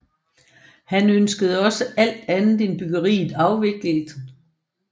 Han ønskede også alt andet end bryggeriet afviklet